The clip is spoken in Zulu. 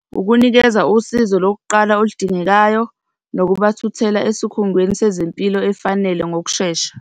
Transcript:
Ukunikeza usizo lokuqala oludingekayo nokubathuthela esikhungweni sezempilo efanele ngokushesha.